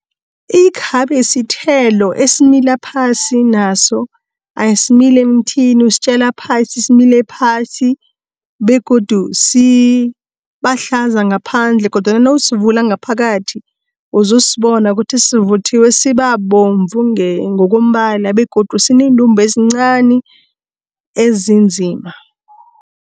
Ikhabe sithelo esimila phasi naso, asimili emthini, usitjala phasi, simile phasi, begodu sibahlaza ngaphandle, kodwana nawusivula ngaphakathi uzosibona kuthi sivuthiwe sibabomvu ngokombala begodu sineendumbe ezincani ezinzima.